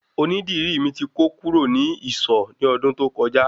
Oní dìrí mi ti kó kú rò ni ìsọ̀ ni ọdún tó kọjá